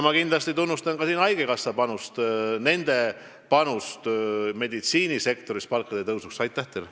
Ma tunnustan siinkohal kindlasti ka haigekassa panust meditsiinisektori palkade tõstmisel.